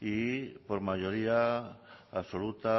y por mayoría absoluta